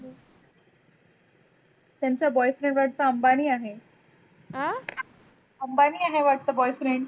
त्यानचा boyfriend वाटत अम्बानी आहे. अम्बानी आहे वाटत boyfreind